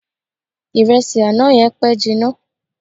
Ìrẹsì àná yẹn pẹ́ jinna.